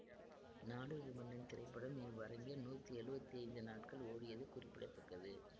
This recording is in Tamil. நாடோடி மன்னன் திரைப்படம் இவ்வரங்கில் நூத்தி எழுவத்தி ஐந்து நாட்கள் ஓடியது குறிப்பிட தக்கது